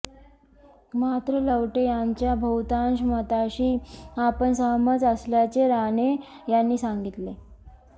मात्र लवटे यांच्या बहुतांश मताशी आपण सहमत असल्याचे राणे यांनी सांगितले